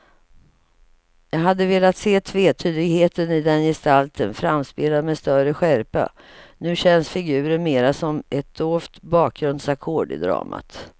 Jag hade velat se tvetydigheten i den gestalten framspelad med större skärpa, nu känns figuren mera som ett dovt bakgrundsackord i dramat.